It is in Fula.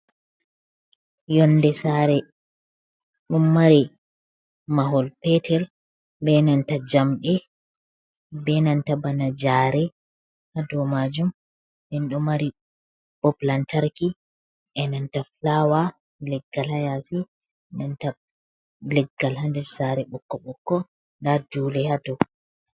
Yonnde saare, ɗo mari mahol peetel bee nanta jamɗe bee nanta bana Jaare haa dow maajum, nden ɗon mari Bob lantarki e nanta fulaawa, leggal haa yaasi nanta leggal haa nder saare bokko-ɓokko nda Duule haa dow.